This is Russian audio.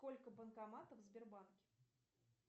сколько банкоматов в сбербанке